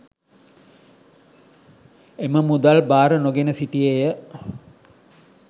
එම මුදල් භාර නොගෙන සිටියේය.